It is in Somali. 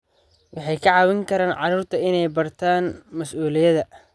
Waxay ka caawin karaan carruurta inay bartaan mas'uuliyadda.